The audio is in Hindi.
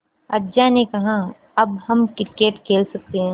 अज्जा ने कहा अब हम क्रिकेट खेल सकते हैं